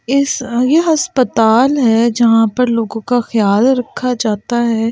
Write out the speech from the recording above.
इस ये अस्पताल है जहां पर लोगों का ख्याल रखा जाता है।